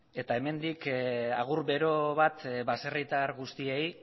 eta hemendik agur bero bat baserritar guztiei